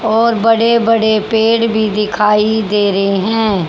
और बड़े बड़े पेड़ भी दिखाई दे रहे हैं।